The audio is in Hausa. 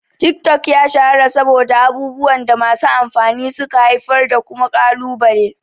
Tik-tok ya shahara saboda abubuwan da masu amfani suka haifar da kuma kalubale.